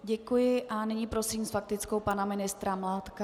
Děkuji a nyní prosím s faktickou pana ministra Mládka.